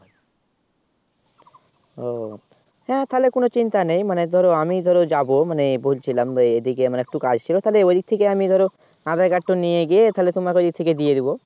ও হ্যাঁ তাহলে কোন চিন্তা নেই মানে ধরো আমি ধরো যাব মানে বলছিলাম এদিকে আমার একটু কাজ ছিল তাহলে এদিক থেকে আমি ধরো Aadhaar Card নিয়ে গিয়ে তাহলে তোমাকে ইয়ে থেকে দিয়ে দেবো